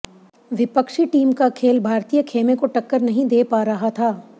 विपक्षी टीम का खेल भारतीय खेमे को टक्कर नहीं दे पा रहा था